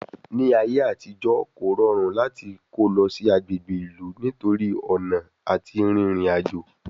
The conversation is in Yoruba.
Ní ayé àtijọ́, kò rọrùn láti kó lọ sí agbègbè ìlú nítorí ọ̀nà àti rin ìrìn àjò